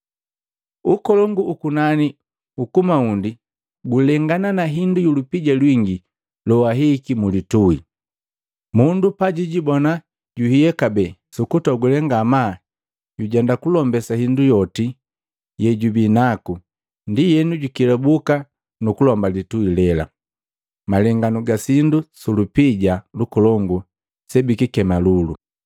“Ukolongu ukunani ukumaundi gulengana na hindu yu lupija lwingi loahihiki mu litui. Mundu pajijibona juhiya kabee. Sukutogule ngamaa jujenda kulombesa indu yoti yejubi naku, ndienu jukelabuka nukulomba litui lela.” Malenganu ga sindu sulupija lukolongu bikikema lulu